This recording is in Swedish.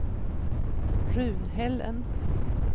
Runhällen